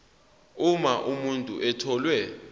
uma umuntu etholwe